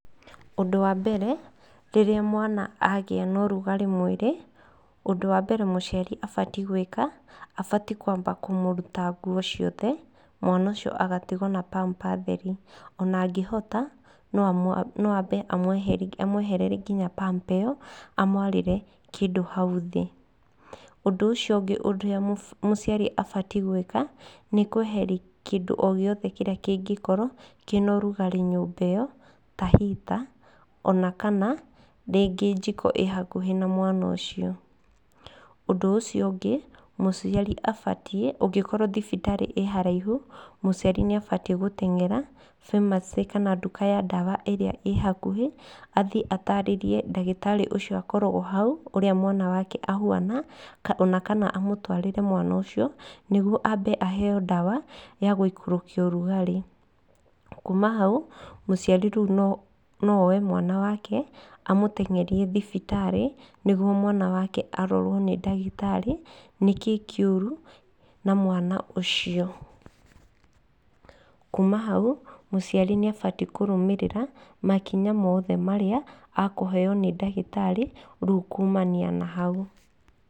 Ũndũ wa mbere rĩrĩra mwana agĩa na ũrugarĩ mwĩri, ũndũ wa mbere mũciari abatiĩ gwĩka, abatiĩ kwamba kũmũruta nguo ciothe, mwana ũcio agatigwo na pamper theri. Ona angĩhota no ambe amwehererie nginya pamper ĩyo amwarĩre kĩndũ hau thĩ. Ũndũ ũcio ũngĩ mũciari abatiĩ gwĩka nĩ kweheria kĩndũ o gĩothe kĩrĩa kĩngĩkorwo kĩna ũrugarĩ nyũmba ĩyo, ta rĩngĩ heater ona kana rĩngĩ njiko ĩ hakuhĩ na mwana ũcio. Ũndũ ũcio ũngĩ mũciari abatiĩ ũngĩkorwo thibitarĩ ĩ haraihu, mũciari nĩ abatiĩ gũtengera pharmacy kana nduka ya ndawa ĩrĩa ĩ hakuhĩ, athiĩ ataarĩrie ndagĩtarĩ ũcio ũkoragwo hau ũrĩa mwana wake ahuana, ona kana amũtwarĩre mwana ũcio. Nĩguo ambe aheyo ndawa ya gũikũrũkia ũrugarĩ. Kuma hau, mũciari rĩu no oe mwana wake amũtengerie thibitarĩ, nĩguo mwana wake arorwo nĩ ndagĩtarĩ nĩkĩ kĩũru na mwana ũcio. Kuma hau mũciari nĩ abatiĩ kũrũmĩrĩra makinya mothe marĩa akũheyo nĩ ndagĩtarĩ rĩu kumania na hau.